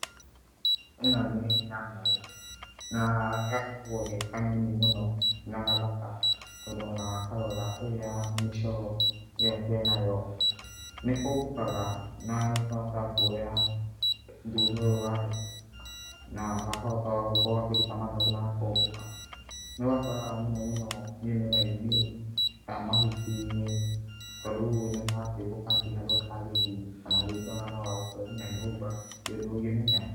Ĩno nĩ nyamũ na gakoragwo ge kanini mũno na gathaka tondũ o na wakarora ũrĩa mĩcoro ĩyo ke nayo, nĩ kombũkaga na nĩ kahotaga kuoya thutha ũyũ wayo na gakahota gũkorwo gakĩruta mathagu na gakombũka. Nĩ ũgakoraga mũno mũno mĩmera-inĩ, mahuti-inĩ tondũ rĩu nĩ karakĩũmbũka gũtirĩ handũ gatangĩthiĩ kana rĩngĩ no gagũkore nginya nyũmba, ndũngĩmenya.